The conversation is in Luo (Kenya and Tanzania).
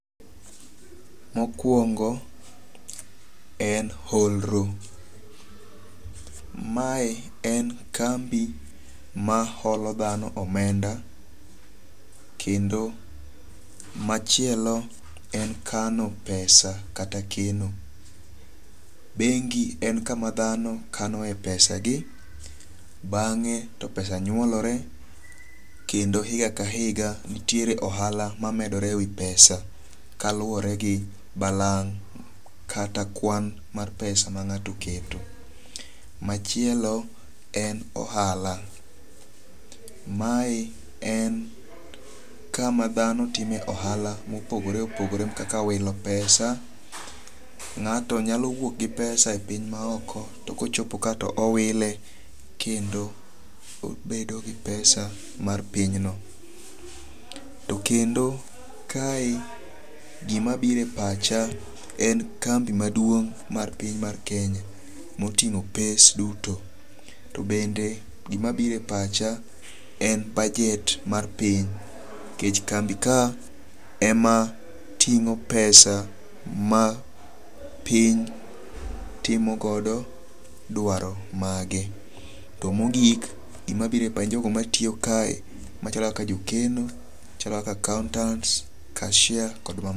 Mokwongo en holro. Mae en kambi ma holo dhano omenda. Kendo machielo en kano pesa kata keno. Bengi en kama dhano kanoe pesagi. Bang'e to pesa nyuolore kendo higa ka higa nitiere ohala ma medore e wi pesa kaluwore gi balang' kata kwan mar pesa ma ng'ato oketo. Machielo en ohala. Mae en kama dhano time ohala mopogore opogore kaka wilo pesa. Ng'ato nyalo wuok gi pesa e piny ma oko to kochopo ka to owile kendo obedo gi pesa mar pinyno. To kendo, kae gima biro e pacha en kambi maduong' par piny mar kenya motingo pes duto. To bende gima biro e pacha en bajet mar piny. Nikech kambi ka ema ting'o pesa ma piny timogodo dwaro mage. To mogik, gima biro e jogo matiyo kae machalo kaka jokeno. Machalo kaka accountants, cashiers